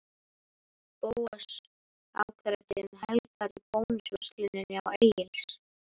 Bóas afgreiddi um helgar í Bónusversluninni á Egils